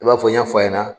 I b'a fɔ n y' fɔ a ɲɛna